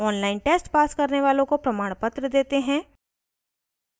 online test pass करने वालों को प्रमाणपत्र देते हैं